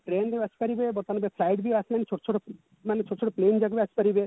train ରେ ଆସିପାରିବେ ବର୍ତମାନ ଏବେ flight ବି ଆସିଲାଣି ଛୋଟ ଛୋଟ ମାନେ ଛୋଟ ଛୋଟ plane ଯାକ ବି ଆସିପାରିବେ